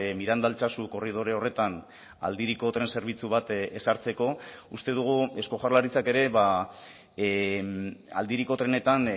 miranda altsasu korridore horretan aldiriko tren zerbitzu bat ezartzeko uste dugu eusko jaurlaritzak ere aldiriko trenetan